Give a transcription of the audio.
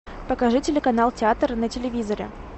покажи телеканал театр на телевизоре